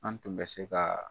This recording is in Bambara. An tun bɛ se kaa